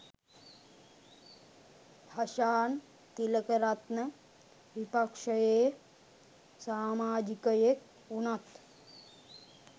හෂාන් තිලකරත්න විපක්ෂයේ සාමාජිකයෙක් වුණත්